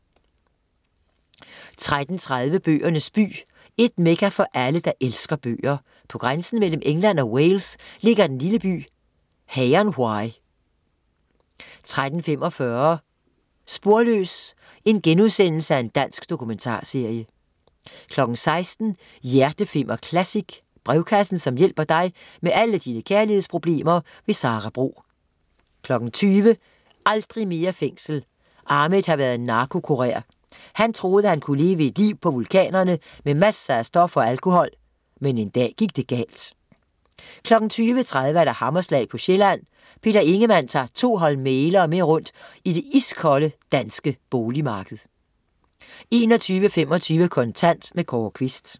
13.30 Bøgernes by. Et mekka for alle, der elsker bøger. På grænsen mellem England og Wales ligger den lille by Hay-on-wye 13.45 Sporløs. Dansk dokumentarserie* 16.00 Hjerteflimmer Classic. Brevkassen som hjælper dig med alle dine kærlighedsproblemer. Sara Bro 20.00 Aldrig mere fængsel. Ahmed har været narkokurer. Han troede, han kunne leve et liv på vulkanerne med masser af stoffer og alkohol, men en dag gik det galt 20.30 Hammerslag på Sjælland. Peter Ingemann tager to hold mæglere med rundt i det iskolde danske boligmarked 21.25 Kontant. Kåre Quist